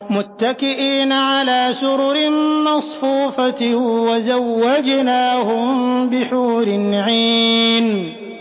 مُتَّكِئِينَ عَلَىٰ سُرُرٍ مَّصْفُوفَةٍ ۖ وَزَوَّجْنَاهُم بِحُورٍ عِينٍ